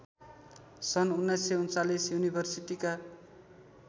सन् १९३९ युनिभर्सिटीका